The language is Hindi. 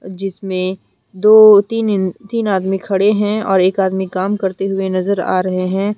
जिसमें दो तीन तीन आदमी खड़े हैं और एक आदमी काम करते हुए नजर आ रहे हैं।